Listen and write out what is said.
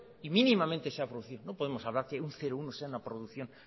y minimamente sea producido no podemos hablar que un cero coma uno sea una producción